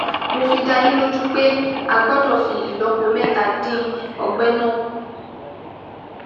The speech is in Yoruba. Mo fi dá yín lójú pé a gbọ́dọ̀ fi ìlọ́po mẹ́ta dín ọgbẹ́ náà kù